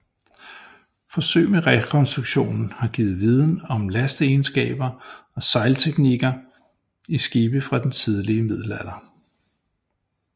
Forsøg med rekonstruktionen har givet viden om lasteegenskaber og sejlteknikker i skibe fra den tidlige middelalder